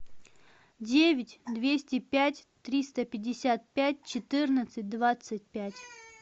девять двести пять триста пятьдесят пять четырнадцать двадцать пять